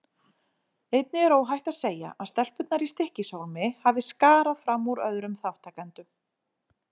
Einnig er óhætt að segja að stelpurnar í Stykkishólmi hafi skarað fram úr öðrum þátttakendum.